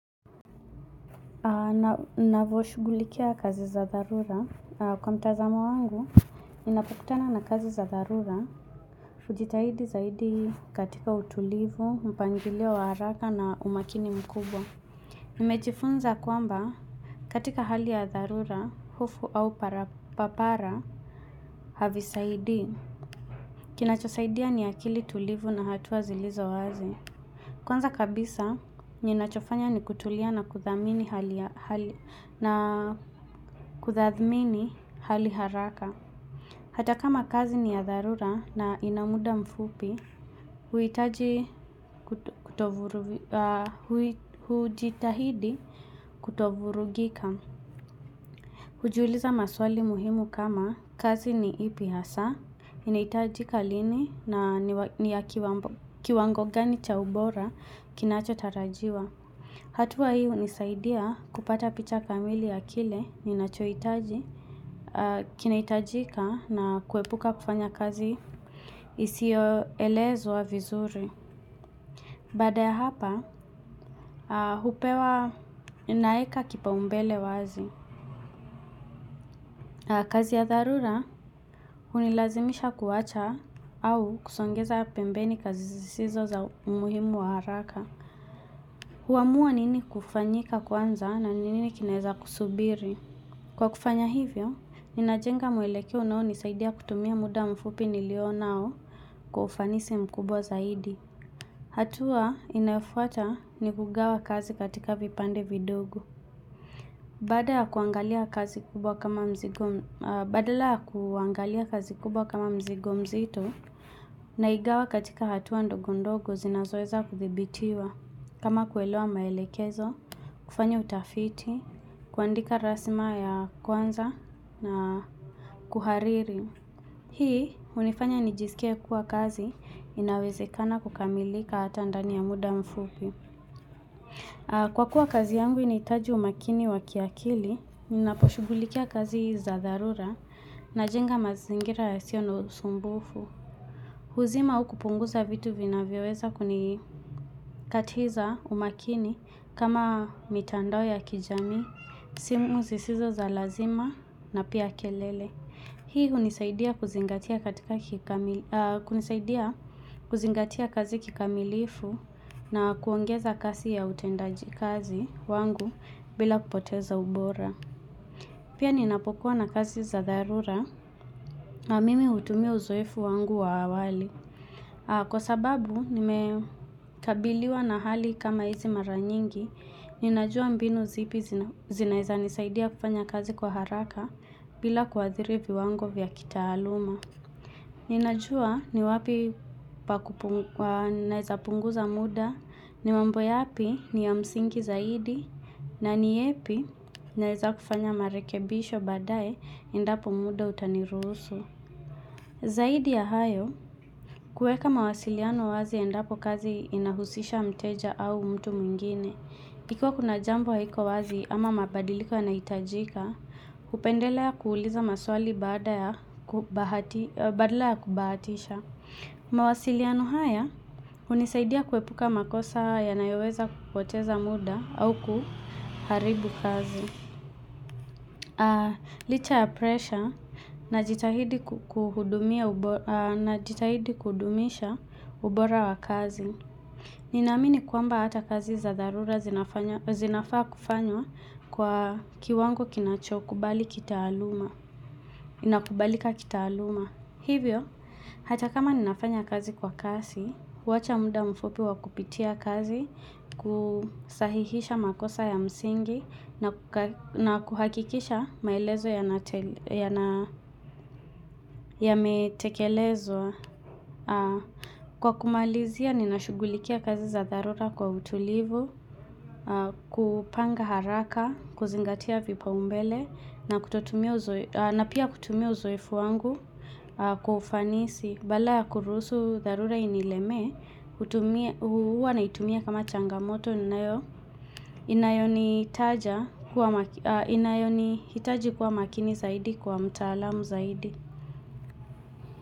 Ninavyoshugulikia kazi za tharura Kwa mtazamo wangu, ninapokutana na kazi za dharura hujitahidi zaidi katika utulivu, mpangilio wa haraka na umakini mkubwa. Nimejifunza kwamba katika hali ya dharura, hufu au papara, havisaidi Kinachosaidia ni akili tulivu na hatua zilizo wazi. Kwanza kabisa, ninachofanya ni kutulia na kuthadhamini hali hali na kuthamini hali haraka. Hata kama kazi ni ya dharura na inamuda mfupi, huhitahidi kutovurugika hujitahidi kutovurugika Hujiuliza maswali muhimu kama kazi ni ipi hasa, inahitajika lini na ni ya kiwango gani cha ubora kinachotarajiwa. Hatua hii hunisaidia kupata picha kamili ya kile ninachoitaji, kinahitajika na kuepuka kufanya kazi isiyo elezwa wa vizuri. Baada ya hapa, hupewa ninaweka kipao mbele wazi. Kazi ya tharura, hunilazimisha kuwacha au kusongeza pembeni kazi zisizo za umuhimu wa haraka. Huamua nini kufanyika kwanza na nini kinaweza kusubiri. Kwa kufanya hivyo, ninajenga mwelekeo unao nisaidia kutumia muda mfupi niliyo nayo kwa ufanisi mkubwa zaidi. Hatua inayofuata ni kugawa kazi katika vipande vidogo. Baada ya kuangalia kazi kubwa kama mzigo badala ya kuangalia kazi kubwa kama mzigo mzito, naigawa katika hatua ndogo ndogo zinazoweza kudhibitiwa. Kama kuelewa maelekezo, kufanya utafiti, kuandika rasima ya kwanza na kuhariri. Hii hunifanya nijisikie kuwa kazi inawezekana kukamilika hata ndani ya muda mfupi. Kwa kuwa kazi yangu inahitaji umakini wakiakili, ninaposhughulikia kazi za dharura najenga mazingira yasio na sumbufu. Huzima ua kupunguza vitu vinavyoweza kunikatiza umakini kama mitandao ya kijamii, simu zisizo za lazima na pia kelele. Hii hunisaidia kuzingatia katika kikamili kunisaidia kuzingatia kazi kikamilifu na kuongeza kasi ya utendaji kazi wangu bila kupoteza ubora. Pia ninapokuwa na kazi za dharura na mimi hutumia uzoefu wangu wa awali. Kwa sababu nimekabiliwa na hali kama hizi mara nyingi, ninajua mbinu zipi zinaweza nisaidia kufanya kazi kwa haraka bila kuwadhiri viwango vya kitaaluma. Ninajua ni wapi pa punguza naweza punguza muda, ni mambo yapi ni ya msingi zaidi, na ni yepi naweza kufanya marekebisho baadaye endapo muda utaniruhusu. Zaidi ya hayo, kuweka mawasiliano wazi endapo kazi inahusisha mteja au mtu mwingine. Hivyo kuna jambo haiko wazi ama mabadiliko yanahitajika, kupendelea kuuliza maswali baada ya badala ya kubahatisha. Mawasiliano haya, hunisaidia kuepuka makosa yanayoweza kupoteza muda au kuharibu kazi. Licha ya presha najitahidi kudumisha ubora wa kazi Nina amini kwamba hata kazi za dharura zinafanya zinafaa kufanywa kwa kiwango kinachokubali kitaaluma kubalika kitaaluma hivyo, hata kama ninafanya kazi kwa kasi wacha muda mfupi wa kupitia kazi, kusahihisha makosa ya msingi na kuhakikisha maelezo yana yametekelezwa. Kwa kumalizia, ninashughulikia kazi za dharura kwa utulivu, kupanga haraka, kuzingatia vipao mbele, na kutotumia uzoefu na pia kutumia uzoefu wangu kwa ufanisi. Badala ya kuruhusu, dharura inilemee, hutumia huwa naitumia kama changamoto, inayo inayonihitaji kuwa makini zaidi kwa mtaalamu zaidi.